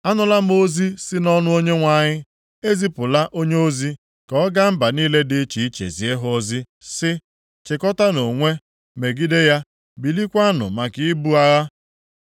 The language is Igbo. Anụla m ozi si nʼọnụ Onyenwe anyị. E zipụla onyeozi ka ọ ga mba niile dị iche iche zie ha ozi, sị, “Chịkọtaanụ onwe, megide ya. Bilikwanụ maka ibu agha!”